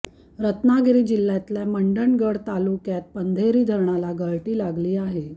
रत्नागिरी जिल्ह्यातल्या मंडणगड तालुक्यात पंधेरी धरणाला गळती लागली आहे